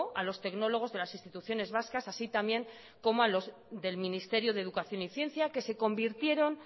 a los tecnólogos de las instituciones vascas así también como a los del ministerio de educación y ciencia que se convirtieron